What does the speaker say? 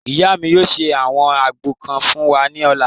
Ìyá mi yóò ṣe àwọn àgbo kan fún wa ní ọ̀la